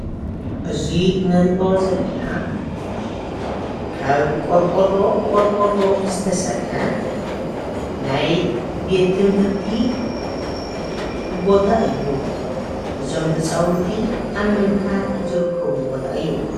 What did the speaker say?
እዚ እንሪኦ ዘለና ካብ ቆርቆሮ ብቆርቆሮ ዝተሰርሐ ናይ ቤት ትምህርቲ ቦታ እዩ። እዞም ህፃዉንቲ ኣብ ምምሃር ዝርከብሉ ቦታ እዩ።